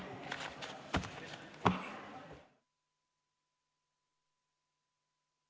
Istungi lõpp kell 18.40.